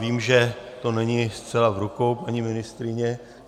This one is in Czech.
Vím, že to není zcela v rukou paní ministryně.